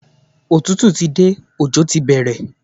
Òtútù ti dé, ọjọ́ ti bẹ̀rẹ̀.